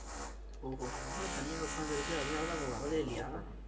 ஓஹோ அதான் தனியா உட்க்கார்ந்திருக்கு அதனாலதான் இப்ப வரதே இல்லையா?